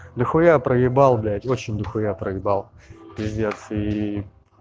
дохуя проебал блять очень дохуя проебал пиздец и